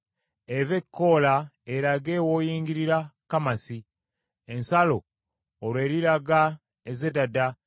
eve e Koola erage w’oyingirira Kamasi. Ensalo olwo eriraga e Zedada,